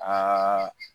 Aa